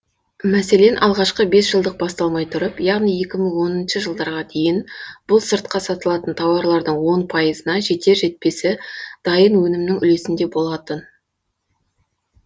мәселен алғашқы бес жылдық басталмай тұрып яғни екі мың оныншы жылдарға дейін бұл сыртқа сатылатын тауарлардың он пайызына жетер жетпесі дайын өнімнің үлесінде болатын